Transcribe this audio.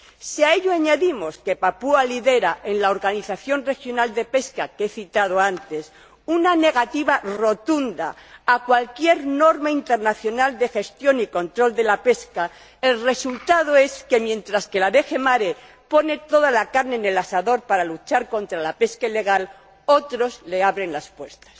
Si a ello añadimos que Papúa Nueva Guinea lidera ―en la organización regional de pesca que he citado antes― una negativa rotunda a cualquier norma internacional de gestión y control de la pesca el resultado es que, mientra que la DG Asuntos Marítimos y Pesca pone toda la carne en el asador para luchar contra la pesca ilegal, otros le abren las puertas.